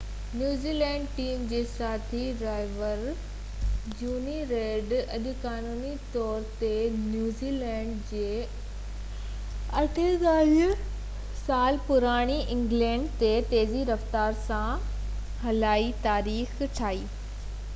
a1gp New Zealand team جي ساٿي driver Jonny Reid اڄ قانوني طور تي نيوزي لينڊ جي 48 سال پراڻي آڪلينڊ پل تي تيزي رفتار سان هلائي تاريخ ٺاهي